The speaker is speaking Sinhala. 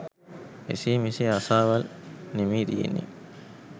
එසේ මෙසේ ආසාවල් නෙමේ තියෙන්නේ